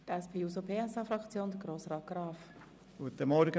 Für die SP-JUSO-PSA-Fraktion hat Grossrat Graf das Wort.